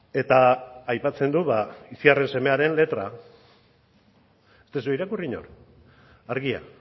eta aipatzen du itziarren semearen letra ez duzue irakurri inork argia